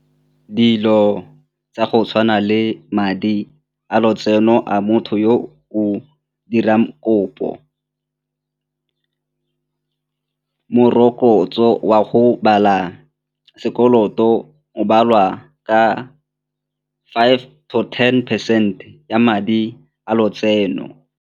Dilo tsa go tshwana le madi a lotseno a motho yo o dirang kopo, morokotso wa go bala sekoloto o baliwa ka five to ten percent ya madi a lotseno.